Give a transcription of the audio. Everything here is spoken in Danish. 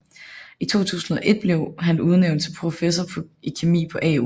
I 2001 blev han udnævnt til professor i kemi på AU